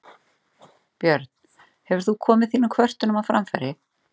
Björn: Hefur þú komið þínum kvörtunum á framfæri?